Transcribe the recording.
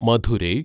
Madurai